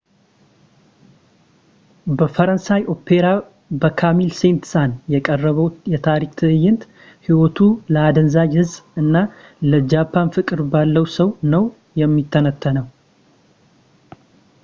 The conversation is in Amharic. በፈረንሳይ ኦፔራ በካሚል ሴንት-ሳን የቀረበው የታሪክ ትእይንት ሕይወቱ ለአደንዛዥ ዕፅ እና ለጃፓን ፍቅር ባለው ሰው ነው የሚተነተነው